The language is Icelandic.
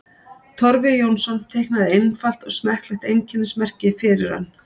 Torfi Jónsson teiknaði einfalt og smekklegt einkennismerki fyrir hann.